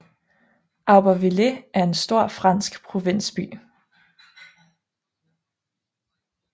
Aubervilliers er en stor fransk provinsby